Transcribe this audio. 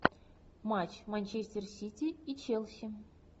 матч манчестер сити и челси